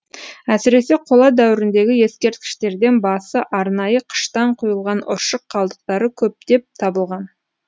әсіресе қола дәуіріндегі ескерткіштерден басы арнайы қыштан құйылған ұршық қалдықтары көптеп табылған